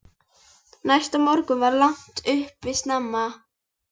Næsta morgun var lagt upp snemma.